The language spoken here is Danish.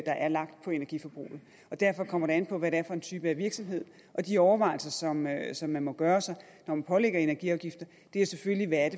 er lagt på energiforbruget derfor kommer det an på hvad det er for en type af virksomhed og de overvejelser som man som man må gøre sig når man pålægger energiafgifter er selvfølgelig hvad